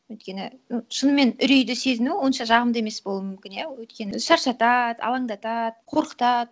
өйткені м шынымен үрейді сезіну онша жағымды емес болу мүмкін иә өйткені шаршатады алаңдатады қорқытады